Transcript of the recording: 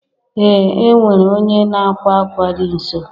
Ee e nwere onye n'akwa akwa dị nso